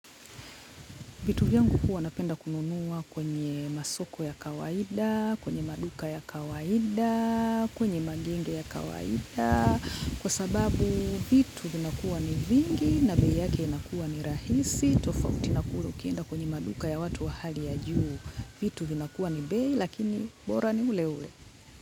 Vitu vyangu huwa napenda kununua kwenye masoko ya kawaida, kwenye maduka ya kawaida, kwenye magenge ya kawaida, kwa sababu vitu vinakuwa ni vingi na bei yake inakuwa ni rahisi, tofauti na kula ukienda kwenye maduka ya watu wa hali ya juu, vitu vinakuwa ni bei lakini bora ni ule ule.